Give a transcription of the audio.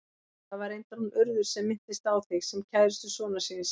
Það var reyndar hún Urður sem minntist á þig, sem kærustu sonar síns.